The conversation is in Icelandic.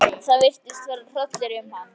Það virtist fara hrollur um hann.